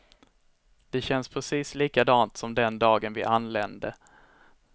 Det känns precis likadant som den dagen vi anlände.